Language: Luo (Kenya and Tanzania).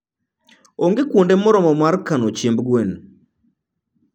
Onge kuonde moromo mar kano chiemb gwen.